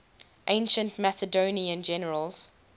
ancient macedonian generals